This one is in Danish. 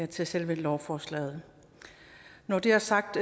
til selve lovforslaget når det er sagt